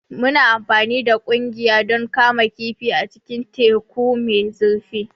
Muna amfani da ƙugiya don kama kifi a cikin teku mai zurfi.